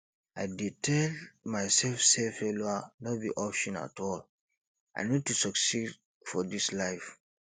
i dey tell myself say failure no be option at all i need to succeed for this life